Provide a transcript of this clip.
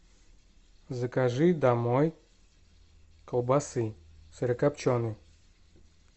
закажи домой колбасы сырокопченой